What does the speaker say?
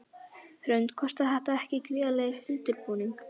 Hrund: Kostaði þetta ekki gríðarlegan undirbúning?